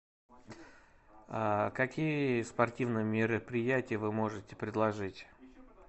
какие спортивные мероприятия вы можете предложить